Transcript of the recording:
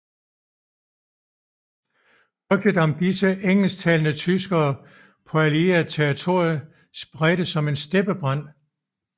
Rygtet om disse engelsktalende tyskere på allieret territorium spredtes som en steppebrand